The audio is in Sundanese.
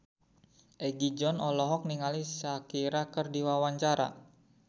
Egi John olohok ningali Shakira keur diwawancara